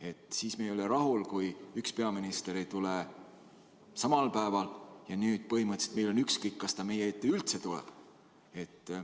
Et siis me ei ole rahul, kui üks peaminister ei tule samal päeval, ja nüüd põhimõtteliselt meil on ükskõik, kas ta meie ette üldse tuleb.